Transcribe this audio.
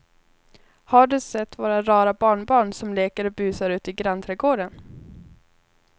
Har du sett våra rara barnbarn som leker och busar ute i grannträdgården!